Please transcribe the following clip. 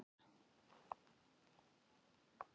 Þau dæmi skal ég gefa hér.